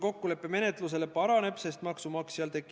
Suur tänu kaasa mõtlemast!